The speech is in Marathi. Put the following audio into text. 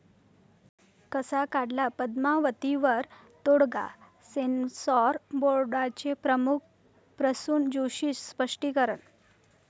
कसा काढला 'पद्मावती'वर तोडगा? सेन्सॉर बोर्डाचे प्रमुख प्रसून जोशींचं स्पष्टीकरण